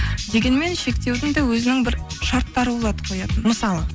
дегенмен шектеудің да өзінің бір шарттары болады қоятын мысалы